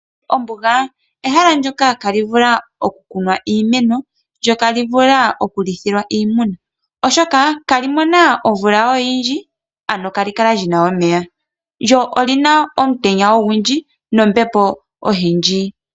Ombuga ehala ndyoka ihaali vulu oku kunwa iimeno. Ihali vulu woo oku lithwa iimuna. Oshoka iha li mono omvula oyindji. Iha li kala lina omeya lyo olina omutenya ogundji nombepo oyindji.